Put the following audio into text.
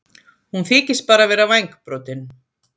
Hún þykist bara vera vængbrotin.